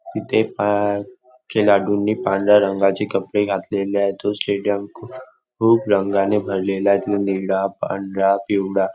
तिथे पा खिलाडू नी पांढऱ्या रंगाचे कपडे घातलेले आहे तो स्टेडियम खू खूप रंगाने भरलेला आहे मग निळा पांढरा पिवळा.